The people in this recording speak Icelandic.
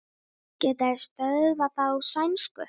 Geta þeir stöðvað þá sænsku?